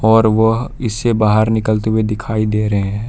और वह इससे बाहर निकलते हुए दिखाई दे रहे--